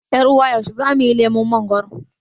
yar ' uwa Yaushe zamuyi lemon mangoro?